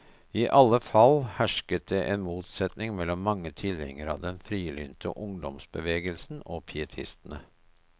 I alle fall hersket det en motsetning mellom mange tilhengere av den frilynte ungdomsbevegelsen og pietistene.